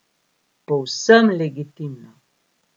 Povsem legitimno.